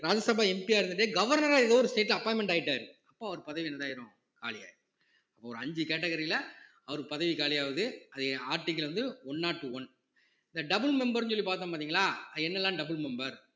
Rajya Sabha MP யா இருந்துட்டே governor ஆ ஏதோ ஒரு state ல appointment ஆயிட்டாரு அப்ப அவர் பதவி என்னதா ஆயிரும் காலியாயிரும் ஒரு அஞ்சு category ல அவருக்கு பதவி காலி ஆகுது அது article வந்து one not one இந்த double member ன்னு சொல்லி பார்த்தோம் பார்த்தீங்களா அது என்னெல்லாம் double member